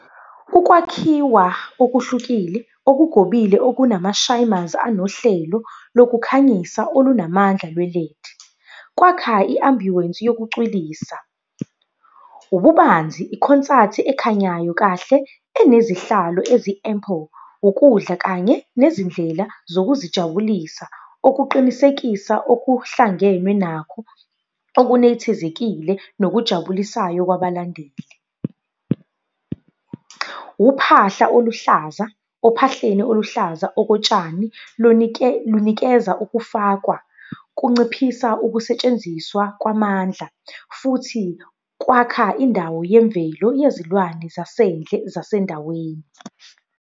Ukwakhiwa okuhlukile, okugobile, okunama anohlelo lokukhanyisa olunamandla lwe-LED. Kwakha i-ambience yokucwilisa. Ububanzi ikhonsathi ekhanyayo kahle, enezihlalo ezi-ample, ukudla kanye nezindlela zokuzijabulisa okuqinisekisa okuhlangenwe nakho. okunethezekile, nokujabulisayo kwabalandeli. Uphahla oluhlaza, ophahleni oluhlaza okotshani, lunikeza ukufakwa, kunciphisa ukusetshenziswa kwamandla, futhi kwakha indawo yemvelo yezilwane zasendle zasendaweni.